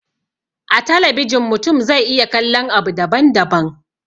A talabijin mutum zai iya kallon abu daban daban